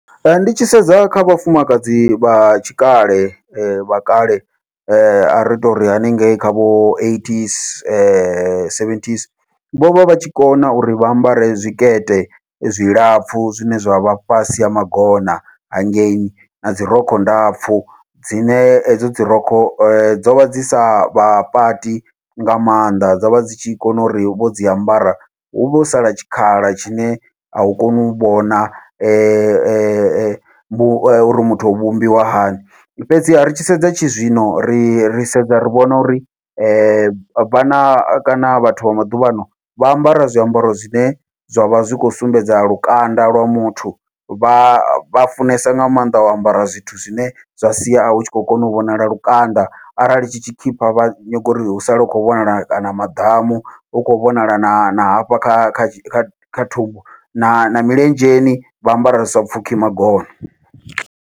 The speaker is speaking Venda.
Ee, ndi tshi sedza kha vhafumakadzi vha tshikale vha kale, ari tori haningei kha vho eightys seventy's vhovha vhatshi kona uri vha ambare zwikete zwilapfhu zwine zwa vha fhasi ha magona hangei, nadzi rokho ndapfhu dzine hedzo dzi rokho dzovha dzi savha pati nga maanḓa dzovha dzi tshi kona uri vho dzi ambara huvhe ho sala tshikhala tshine au koni u vhona uri muthu o vhumbiwa hani. Fhedziha ri tshi sedza tshizwino ri ri sedza ri vhona uri vhana kana vhathu vha maḓuvhano vha ambara zwiambaro zwine zwavha zwi khou sumbedza lukanda lwa muthu, vha vha funesa nga maanḓa u ambara zwithu zwine zwa sia hu tshi khou kona u vhonala lukanda arali tshi tshikhipha vha nyaga uri hu sale hu khou vhonala kana maḓamu hu khou vhonala na na hafha kha kha kha kha thumbu na milenzheni vha ambara zwi sa pfhukhi magona.